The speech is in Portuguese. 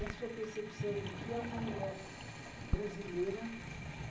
da sua percepção do que é uma mulher brasileira